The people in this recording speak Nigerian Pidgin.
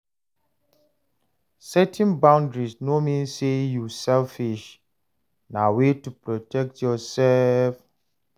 Setting boundaries no mean say yu selfish, na way to protect yursef.